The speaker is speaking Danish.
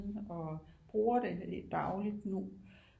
Og bruger det dagligt nu